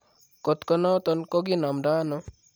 Kot konoton ko kinomdoono?